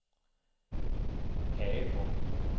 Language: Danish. Agedrup